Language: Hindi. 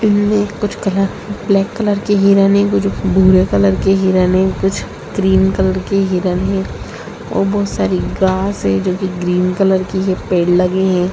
इनमें कुछ कलरफुल ब्लैक कलर के हिरण हैं कुछ भूरे कलर के हिरण हैं कुछ ग्रीन कलर के हिरण हैं और बहुत सारी घास है जोकि ग्रीन कलर की है पेड़ लगे हैं।